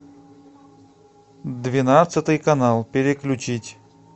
двенадцатый канал переключить